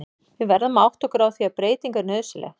Við verðum að átta okkur á því að breyting er nauðsynleg.